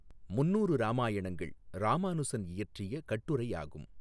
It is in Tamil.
முந்நூறு இராமாயணங்கள் இராமானுசன் இயற்றிய கட்டுரையாகும்.